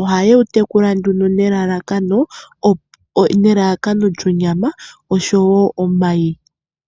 Ohaye wu tekula nduno nelalakano lyonyama osho wo omayi.